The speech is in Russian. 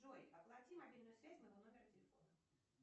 джой оплати мобильную связь моего номера телефона